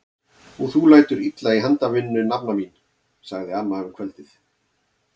Og þú lætur illa í handavinnu nafna mín! sagði amma um kvöldið.